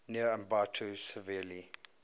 near ambato severely